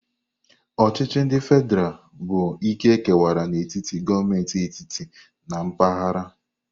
Ochichi ndi fedral bụ ike kewara n'etiti gọọmentị etiti na mpaghara.